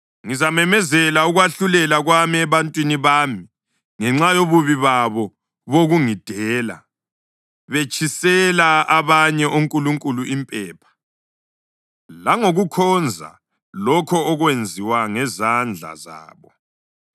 Ngizamemezela ukwahlulela kwami ebantwini bami ngenxa yobubi babo bokungidela, betshisela abanye onkulunkulu impepha, langokukhonza lokho okwenziwa ngezandla zabo.